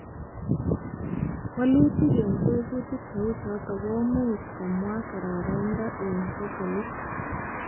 Walutik eng tebutik cheuchoto komuch komwoi karoraindo eng potolit